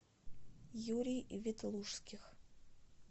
юрий ветлужских